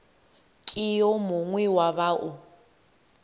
ke yo mongwe wa bao